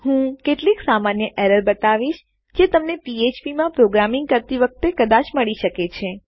હું કેટલીક સામાન્ય એરર્સ ત્રુટીઓબતાવીશ જે તમને ફ્ફ્પ પીએચપીમાં પ્રોગ્રામિંગ કરતી વખતે કદાચ મળી શકે છે